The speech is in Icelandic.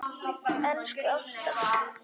Elsku Ásta.